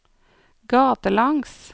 gatelangs